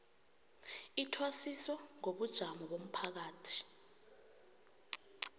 ithwasiso ngobujamo bomphakathi